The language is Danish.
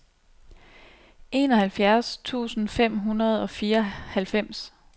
enoghalvfjerds tusind fem hundrede og fireoghalvfems